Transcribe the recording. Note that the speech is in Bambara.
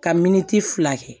Ka miniti fila kɛ